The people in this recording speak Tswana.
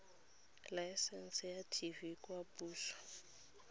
laesense ya tv kwa poso